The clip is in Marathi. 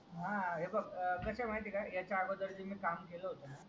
हा हे बघ कस हाय माह्यती हाय याचा अगोदर जे मी काम केला होता ना